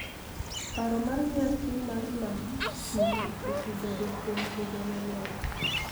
Paro mar nyasi mar Nam Chumbi osebedo kuom higa mang�eny